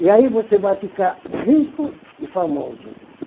E aí você vai ficar rico e famoso.